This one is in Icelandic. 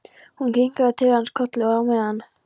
Hún kinkar til hans kolli, og á meðan